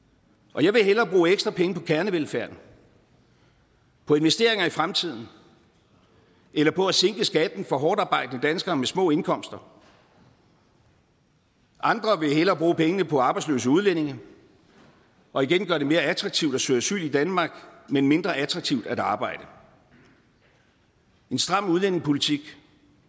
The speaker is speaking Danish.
og jeg vil hellere bruge ekstra penge på kernevelfærden på investeringer i fremtiden eller på at sænke skatten for hårdtarbejdende danskere med små indkomster andre vil hellere bruge pengene på arbejdsløse udlændinge og igen gøre det mere attraktivt at søge asyl i danmark men mindre attraktivt at arbejde en stram udlændingepolitik